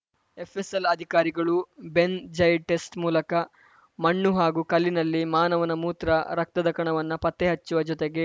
FSL ಅಧಿಕಾರಿಗಳು benzidine test ಮೂಲಕ ಮಣ್ಣು ಹಾಗೂ ಕಲ್ಲಿನಲ್ಲಿ ಮಾನವನ ಮೂತ್ರ ರಕ್ತದ ಕಣವನ್ನ ಪತ್ತೆ ಹಚ್ಚುವ ಜೊತೆಗೆ